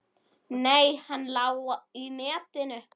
Nei, hann lá í netinu.